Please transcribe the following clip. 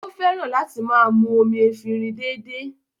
Ó fẹ́ràn láti máa mú omi efinrin dédé